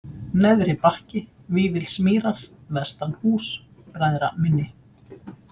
Neðri-Bakki, Vífilsmýrar, Vestanhús, Bræðraminni